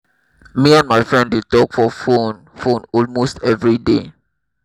me and my friend dey talk for phone phone almost every day